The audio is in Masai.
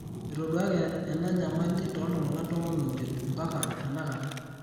etoduaki enya nyamali tootung'anak tomon omiet ompaka tenakata.